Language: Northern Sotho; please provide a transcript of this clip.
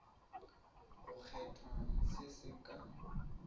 go kgethwa se se ka